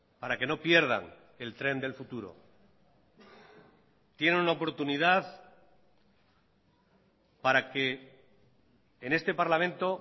para que no pierdan el tren del futuro tienen una oportunidad para que en este parlamento